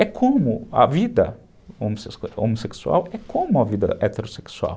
É como a vida homossexual, é como a vida heterossexual.